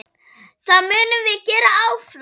Það munum við gera áfram.